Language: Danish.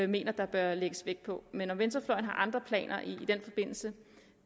mener der bør lægges vægt på men om venstrefløjen har andre planer i den forbindelse